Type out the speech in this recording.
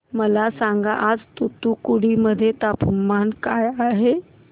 मला सांगा आज तूतुकुडी मध्ये तापमान काय आहे